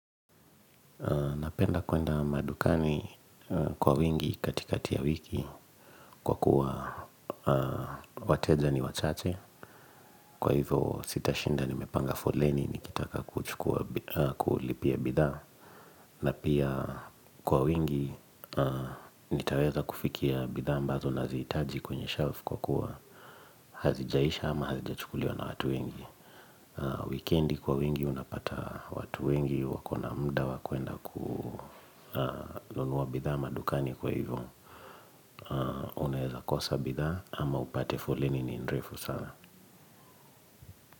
Napenda kuenda madukani kwa wingi katikati ya wiki kwa kuwa wateja ni wachache kwa hivyo sitashinda nimepanga foleni nikitaka kuchukua kulipia bidhaa na pia kwa wingi nitaweza kufikia bidhaa ambazo naziitaji kwenye shelf kwa kuwa hazijaisha ama hazijachukuliwa na watu wengi Wikendi kwa wingi unapata watu wengi wako na mda wa kuenda kununua bidhaa madukani kwa hivyo. Unaeza kosa bidhaa ama upate foleni ni mrefu sana.